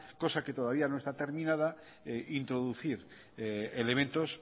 cosa que todavía no está terminada introducir elementos